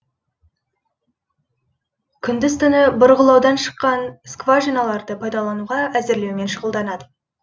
күндіз түні бұрғылаудан шыққан скважиналарды пайдалануға әзірлеумен шұғылданады